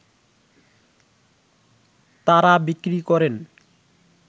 তারা বিক্রি করেন